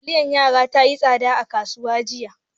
Taliyar yara tayi tsada a kasuwa jiya